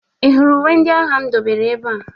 Ị hụrụ uwe ndị agha m dobere ebe a?